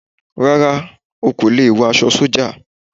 Rárá, okò lẹ wọ aṣọ sọ́jà